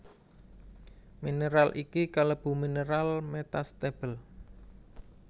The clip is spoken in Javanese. Mineral iki kalebu mineral metastable